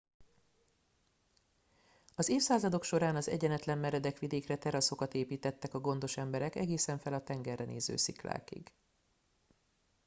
az évszázadok során az egyenetlen meredek vidékre teraszokat építettek a gondos emberek egészen fel a tengerre néző sziklákig